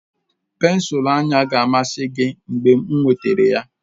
Pensụl anya ga-amasị gị mgbe m wetara ha